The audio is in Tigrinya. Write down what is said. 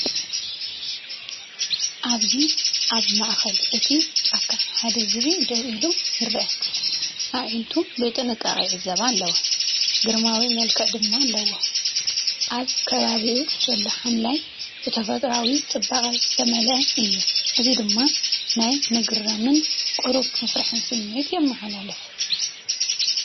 ኣብዚ ኣብ ማእከል እቲ ጫካ ሓደ ዝብኢ ደው ኢሉ ይርአ። ኣዒንቱ ብጥንቃቐ ይዕዘባ ኣለዋ፣ ግርማዊ መልክዕ ድማ ኣለዋ። ኣብ ከባቢኡ ዘሎ ሓምላይ ብተፈጥሮኣዊ ጽባቐ ዝተመልአ እዩ። እዚ ድማ ናይ ምግራምን ቁሩብ ፍርሕን ስምዒት የመሓላልፍ።